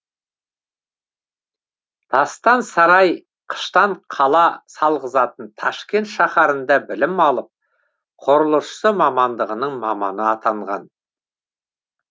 тастан сарай қыштан қала салғызатын ташкент шаһарында білім алып құрылысшы мамандығының маманы атанған